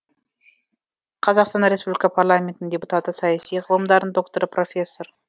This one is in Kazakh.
қазақстан республикасы парламентінің депутаты саяси ғылымдарының докторы профессор